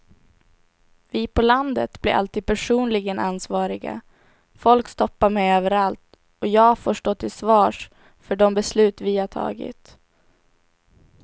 Vi på landet blir alltid personligen ansvariga, folk stoppar mig överallt och jag får stå till svars för de beslut vi har tagit.